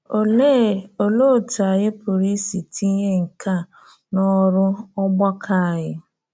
‘Olee ‘Olee otú ànyí pụrụ isi tinye nke a n’ọrụ n’ọ́gbakọ̀ ànyí?’